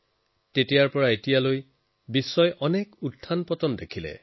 তেতিয়াৰ পৰা এতিয়ালৈকে সমগ্ৰ বিশ্বই অনেক উত্থানপতন দেখিলে